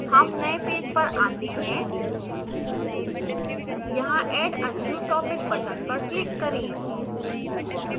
हम नए पेज पर we हैं यहाँ add a new topic button पर click करें